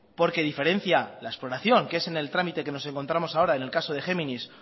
porque diferencia la exploración que es en el trámite donde nos encontramos ahora en el caso de géminis